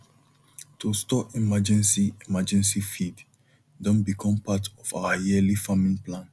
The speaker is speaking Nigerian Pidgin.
to store emergency emergency feed don become part of our yearly farming plan